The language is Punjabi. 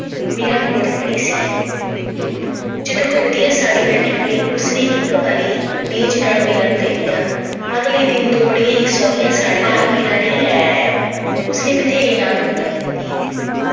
ਮੀਰਾ ਕੋਲ ਖੜੀ ਸੀ ਜਦੋਂ ਕੋਈ ਵਧੀਆ ਸਾੜੀ ਨਾ ਨਿਕਲੀ ਇਸਨੇ ਇੱਕ ਵਾਰੀ ਰੀਝ ਨਾਲ ਮੀਰਾ ਨੂੰ ਵੇਖਿਆ। ਅਗਲੇ ਦਿਨ ਦੋ ਬੜੀਆਂ ਹੀ ਸੋਹਣੀਆਂ ਜੀਆਂ ਸਾੜੀਆਂ ਪਾਲ ਮੀਰਾ ਲਈ ਲੈ ਆਇਆ। ਉਸਨੇ ਬਥੇਰੀ ਨਾਂਹ-ਨੁੱਕਰ ਕੀਤੀ